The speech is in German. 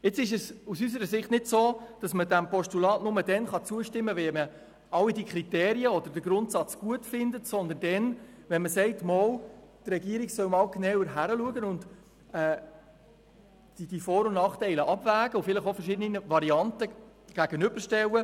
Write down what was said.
Aus unserer Sicht kann man diesem Postulat nicht nur dann zustimmen, wenn man all diese Kriterien oder den Grundsatz gutheisst, sondern auch dann, wenn man sagt, die Regierung solle doch einmal genauer hinschauen, die Vor- und Nachteile abwägen und vielleicht auch verschiedene Varianten einander gegenüberstellen.